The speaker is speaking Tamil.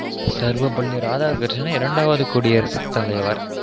சர்வபள்ளி ராதாகிருஷ்ணன் இரண்டாவது குடியரசு தலைவர்